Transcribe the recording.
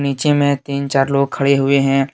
तीन चार लोग खडे हुए है।